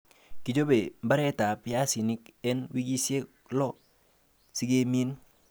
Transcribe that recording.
Kichobe mbaretab piasinik en wikisiek lo sikemin